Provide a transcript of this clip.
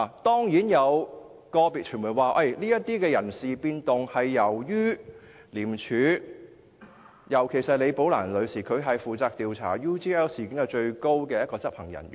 當然，有個別傳媒表示，有關人事變動是由於"李寶蘭事件"所引致，而李女士是在廉署中負責調查 UGL 事件的最高執行人員。